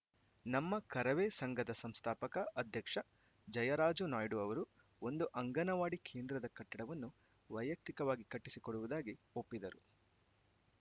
ನಮ್ಮ ಕರವೇ ಸಂಘದ ಸಂಸ್ಥಾಪಕ ಅಧ್ಯಕ್ಷ ಜಯರಾಜು ನಾಯ್ಡು ಅವರು ಒಂದು ಅಂಗನವಾಡಿ ಕೇಂದ್ರದ ಕಟ್ಟಡವನ್ನು ವೈಯಕ್ತಿಕವಾಗಿ ಕಟ್ಟಿಸಿಕೊಡುವುದಾಗಿ ಒಪ್ಪಿದರು